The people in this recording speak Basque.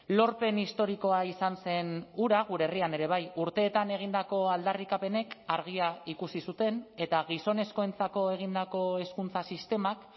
lorpen historikoa izan zen hura gure herrian ere bai urteetan egindako aldarrikapenek argia ikusi zuten eta gizonezkoentzako egindako hezkuntza sistemak